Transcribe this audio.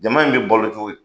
Jama in bɛ bolo cogo di?